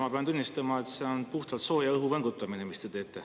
Ma pean tunnistama, et see on puhtalt sooja õhu võngutamine, mis te teete.